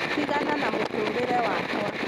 tigana na mũtũrĩre wakwa